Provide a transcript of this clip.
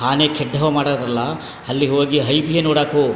ಆನೆ ಕೆಟ್ಟವ್ ಮಾಡೋದಿಲ್ಲಾ ಅಲ್ಲಿಗೆ ಹೋಗಿ ಹೈಬಿಯೋ ನೋಡೋಕು --